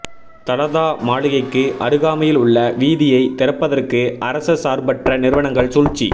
தலதா மாளிகைக்கு அருகாமையில் உள்ள வீதியை திறப்பதற்கு அரச சார்பற்ற நிறுவனங்கள் சூழ்ச்சி